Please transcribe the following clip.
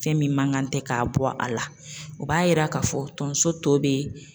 Fɛn min man kan tɛ k'a bɔ a la, o b'a yira k'a fɔ tonso tɔ be yen